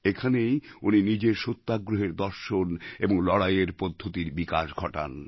এখানেই উনি নিজের সত্যাগ্রহের দর্শন এবং লড়াইয়ের পদ্ধতির বিকাশ ঘটান